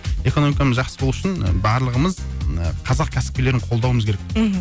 экономикамыз жақсы болу үшін барлығымыз қазақ кәсіпкерлерін қолдауымыз керек мхм